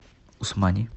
усмани